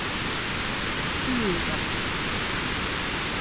Þura